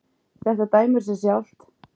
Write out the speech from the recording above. Þetta dæmir sig sjálft.